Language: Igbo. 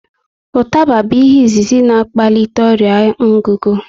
Ụtaba bụ ihe izizi na akpalite ọrịa ngugu